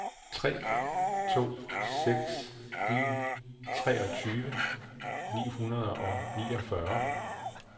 tre to seks en treogtyve ni hundrede og niogfyrre